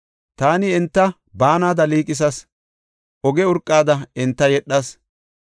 Taani enta baanada liiqisas; oge urqada enta yedhas.